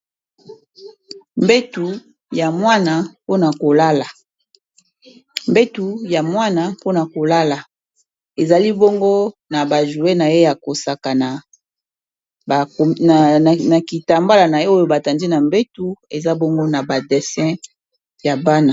Mbetu ya mwana mpo na kolala ezali bongo na ba joue na ye ya kosakana kitambala na ye oyo batandi na mbetu eza bongo na ba dessin ya bana.